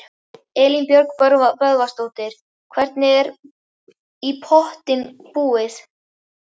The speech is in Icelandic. Elín Margrét Böðvarsdóttir: Hvernig er í pottinn búið?